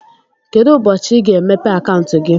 Kedụ ụbọchị i ga- emepe akauntu gị?